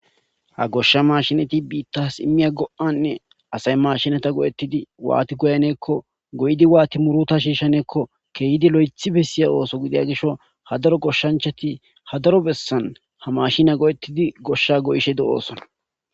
Ha gosha maashineti biitas imiya go'ane asay maashinera go'etidi waati goyaneko goyidi waathi muruta shiishaneko keehidi loythi besiya ooso gidida gishawu ha daro goshanchati ha daro besan ha maashine go'etidi gosha goyishe de'osona.